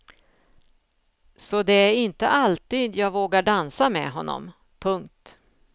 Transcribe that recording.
Så det är inte alltid jag vågar dansa med honom. punkt